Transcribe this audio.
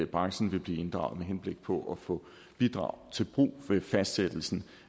branchen vil blive inddraget med henblik på at få bidrag til brug ved fastsættelsen